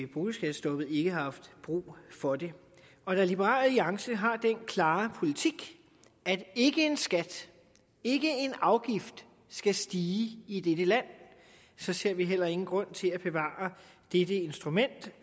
boligskattestoppet ikke har haft brug for det og da liberal alliance har den klare politik at ikke en skat ikke en afgift skal stige i i dette land så ser vi heller ingen grund til at bevare dette instrument